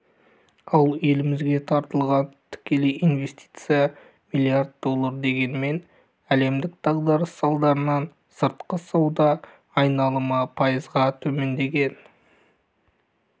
ал елімізге тартылған тікелей инвестиция миллиард доллар дегенмен әлемдік дағдарыс салдарынан сыртқы сауда айналымы пайызға төмендеген